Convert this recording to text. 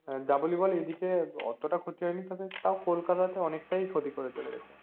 যা বলি বল এইদিকে অতটা ক্ষতি হয়নি তবে তাও কলকাতা তে অনিকটাই ক্ষতি করে চলে গেছে